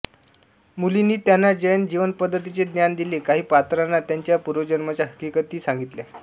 मुनींनी त्यांना जैन जीवनपद्धतीचे ज्ञान दिले काही पात्रांना त्यांच्या पूर्वजन्मांच्या हकीकती सांगितल्या